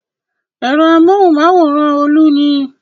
Ẹ̀rọ amóhùmáwòhán Olú ni.